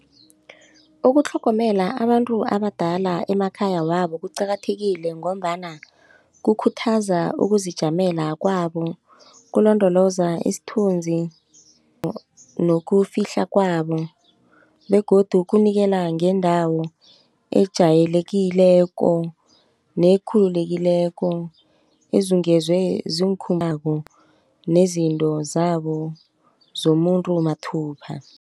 Ukutlhogomela abantu abadala emakhaya wabo kuqakathekile ngombana kukhuthaza ukuzijamela kwabo kulondoloza isithunzi nokufihla kwabo begodu kunikela ngendawo ejayelekileko nekhululekileko ezungezwe nezinto zabo zomuntu mathupha.